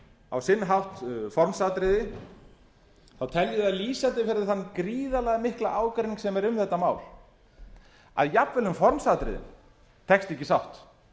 á sinn hátt formsatriði þá tel ég það lýsandi fyrir þann gríðarlega mikla ágreining sem er um þetta mál að jafnvel um formsatriðin tekst ekki sátt